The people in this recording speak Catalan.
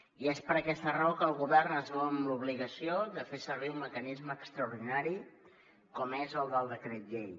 i és per aquesta raó que el govern es veu en l’obligació de fer servir un mecanisme extraordinari com és el del decret llei